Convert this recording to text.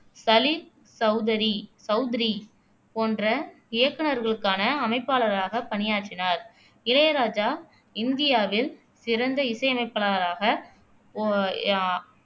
சலில் சௌதரி சௌத்ரி போன்ற இயக்குநர்களுக்கான அமைப்பாளராக பணியாற்றினார் இளையராஜா இந்தியாவில் சிறந்த இசையமைப்பாளராக போ அஹ்